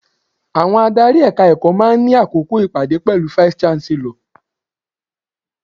Àwọn adárí Ẹ̀ka-ẹ̀kọ́ máa ń ní àkókò ìpàdé pẹ̀lú vice-Chancellor.